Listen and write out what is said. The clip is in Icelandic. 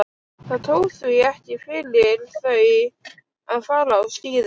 Það tók því ekki fyrir þau að fara á skíði.